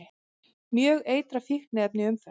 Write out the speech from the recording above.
Mjög eitrað fíkniefni í umferð